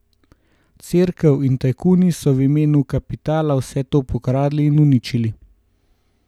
Cerkev in tajkuni so v imenu kapitala vse to pokradli in uničili!